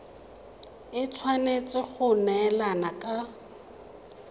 e tshwanetse go neelana ka